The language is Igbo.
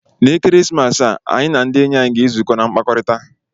Na Ekeresimesi a, anyị na ndị enyi anyị ga-ezukọ na mkpakọrịta.